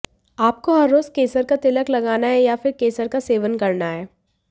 आपको हर रोज़ केसर का तिलक लगाना है या फिर केसर का सेवन करना है